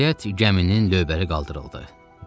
Nəhayət, gəminin lövbəri qaldırıldı.